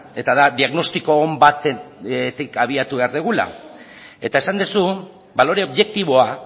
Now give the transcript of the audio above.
eta da diagnostiko on batetik abiatu behar dugula eta esan duzu balore objektiboa